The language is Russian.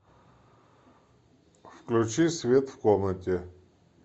включи свет в комнате